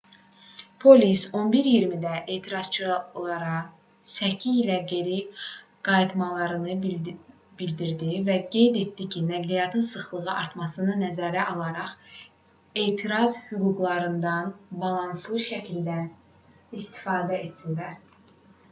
polis 11:20-də etirazçılara səki ilə geri qayıtmalarını bildirdi və qeyd etdi ki nəqliyyat sıxlığının artmasını nəzərə alaraq etiraz hüquqlarından balanslı şəkildə istifadə etsinlər